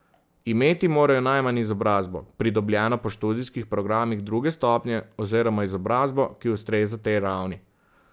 Imeti morajo najmanj izobrazbo, pridobljeno po študijskih programih druge stopnje, oziroma izobrazbo, ki ustreza tej ravni.